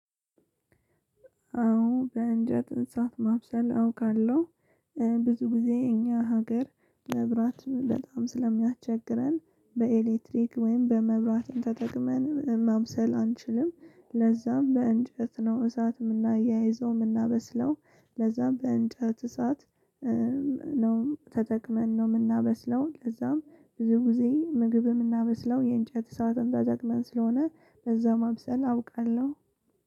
አዎ በእንጃ ጥንሳት ማብሰል አውቃለሁ። ብዙ ጊዜ እኛ ሀገር መብራት በጣም ስለሚያቸግረን በኤሌክትሪክ ወይም በመብራት ተጠቅመን ማብሰል አንችልም ለዛም በእንጨት ነው እሳትም የምናያይዘው የምናበስለው። ለዛም በእንጨት እሳት ነው ተጠቅመን ነው የምናበስለው። ለዛም ብዙ ጊዜ ምግብ የምናመስለው የእንጨት እሳትን ተጠቅመን ስለሆነ በዛም ማብሰን አውቃለሁ።